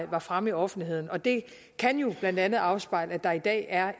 var fremme i offentligheden og det kan blandt andet afspejle at der i dag er